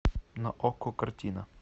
на окко картина